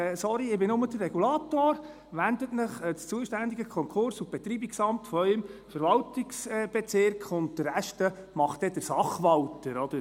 «Sorry, ich bin nur der Regulator, wenden Sie sich an das zuständige Konkurs- und Betreibungsamt Ihres Verwaltungsbezirks, und den Rest erledigt dann der Sachwalter.»